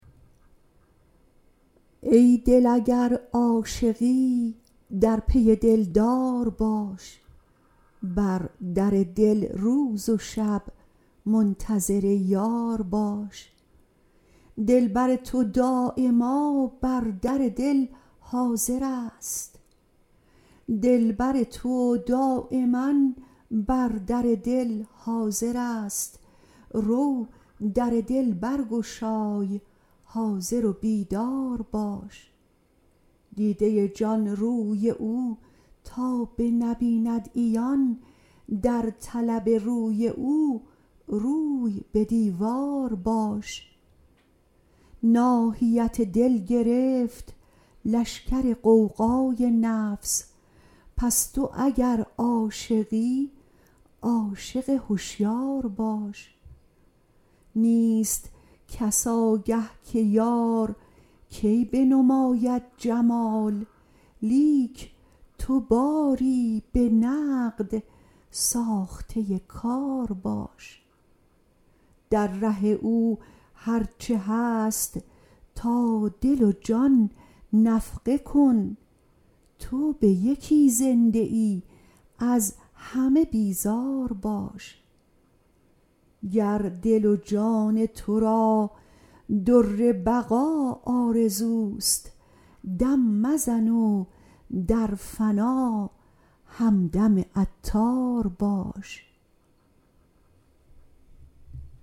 ای دل اگر عاشقی در پی دلدار باش بر در دل روز و شب منتظر یار باش دلبر تو دایما بر در دل حاضر است رو در دل برگشای حاضر و بیدار باش دیده جان روی او تا بنبیند عیان در طلب روی او روی به دیوار باش ناحیت دل گرفت لشگر غوغای نفس پس تو اگر عاشقی عاشق هشیار باش نیست کس آگه که یار کی بنماید جمال لیک تو باری به نقد ساخته کار باش در ره او هرچه هست تا دل و جان نفقه کن تو به یکی زنده ای از همه بیزار باش گر دل و جان تو را در بقا آرزوست دم مزن و در فنا همدم عطار باش